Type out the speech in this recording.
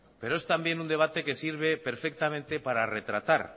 pero es también un debate que sirve perfectamente para retratar